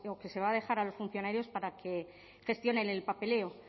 que se va a dejar a los funcionarios para que gestionen el papeleo